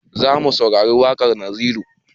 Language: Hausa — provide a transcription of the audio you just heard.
Zamu saurari waƙar naziru